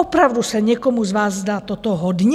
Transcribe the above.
Opravdu se někomu z vás zdá toto hodně?